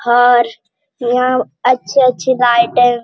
और यहाँ अच्छे-अच्छे गाठ है।